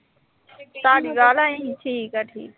ਧਾਰੀਵਾਲ ਆਈ ਸੀ। ਠੀਕ ਆ ਠੀਕ ਆ